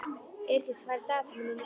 Yrkill, hvað er í dagatalinu mínu í dag?